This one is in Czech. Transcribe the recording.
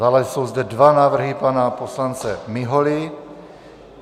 Dále jsou zde dva návrhy pana poslance Miholy.